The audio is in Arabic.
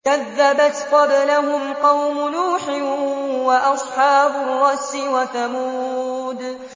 كَذَّبَتْ قَبْلَهُمْ قَوْمُ نُوحٍ وَأَصْحَابُ الرَّسِّ وَثَمُودُ